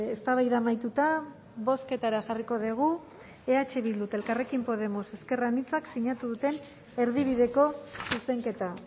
eztabaida amaituta bozketara jarriko dugu eh bilduk eta elkarrekin podemos ezker anitzak sinatu duten erdibideko zuzenketa